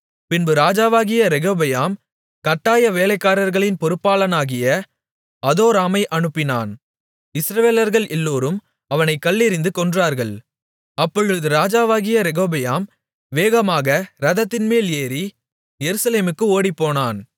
பின்பு ராஜாவாகிய ரெகொபெயாம் கட்டாய வேலைக்காரர்களின் பொறுப்பாளனாகிய அதோராமை அனுப்பினான் இஸ்ரவேலர்கள் எல்லோரும் அவனைக் கல்லெறிந்து கொன்றார்கள் அப்பொழுது ராஜாவாகிய ரெகொபெயாம் வேகமாக இரதத்தின்மேல் ஏறி எருசலேமுக்கு ஓடிப்போனான்